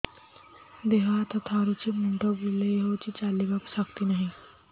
ଦେହ ହାତ ଥରୁଛି ମୁଣ୍ଡ ବୁଲଉଛି ଚାଲିବାକୁ ଶକ୍ତି ନାହିଁ